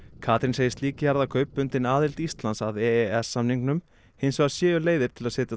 Katrín segir slík jarðakaup bundin aðild Íslands að e e s samningnum hins vegar séu leiðir til að setja